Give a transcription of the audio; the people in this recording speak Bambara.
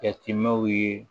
Jateminw ye